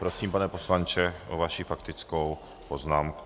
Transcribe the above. Prosím, pane poslanče, o vaši faktickou poznámku.